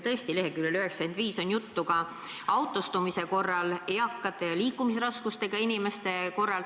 Tõesti, leheküljel 95 on juttu ka autostumisest eakate ja liikumisraskustega inimeste puhul.